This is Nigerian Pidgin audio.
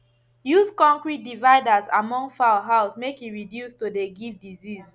use concrete dividers among fowl house make e reduce to de give disease